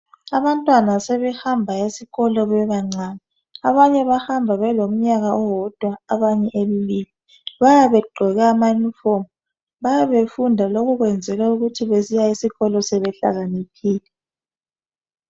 Abantwana sebehamba esikolo bebancane abanye bahamba belomnyaka owodwa abanye embili bayabe begqoke ama"uniform"bayabe befunda lokhu kwenzelwa ukuthi besiya esikolo sebehlakaniphile.